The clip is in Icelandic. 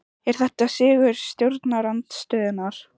Er þetta sigur stjórnarandstöðunnar?